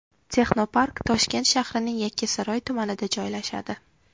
Texnopark Toshkent shahrining Yakkasaroy tumanida joylashadi.